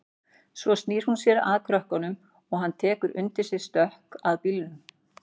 Svo snýr hún sér að krökkunum en hann tekur undir sig stökk að bílnum.